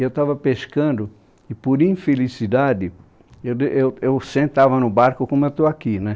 Eu estava pescando e, por infelicidade, eu de eu eu sentava no barco como eu estou aqui.